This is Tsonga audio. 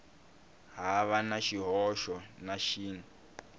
hava na xihoxo na xin